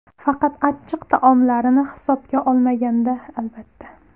Faqat achchiq taomlarini hisobga olmaganda, albatta.